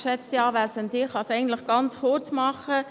Ich kann es eigentlich ganz kurz machen: